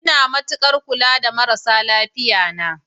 Ina matukar kula da marasa lafiya na.